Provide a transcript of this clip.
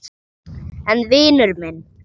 En vinur minn.